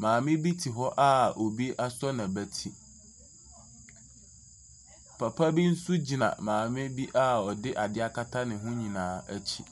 maame te hɔ a obi asɔ n’abati. Papa bi nso gyina maame bi a ɔde ade akata ne ho nyinaa akyi.